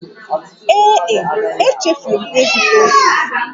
Ee e, echefuru m ịzụta ose